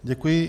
Děkuji.